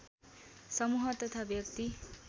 समूह तथा व्यक्ति